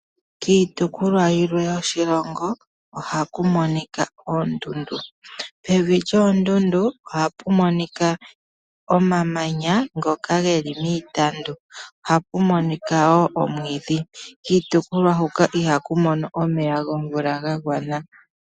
Kiitopolwa yilwe yoshilongo ohaku monika oondundu, pevi lyoondundu ohapu monika omamanya ngoka ge li miitandu ohapu monika wo omwiidhi. Kiitopolwa huka iha ku mono omeya gomvula gagwana.